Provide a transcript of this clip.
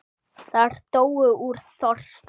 Þær dóu úr þorsta.